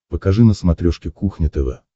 покажи на смотрешке кухня тв